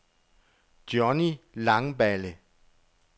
Johny Langballe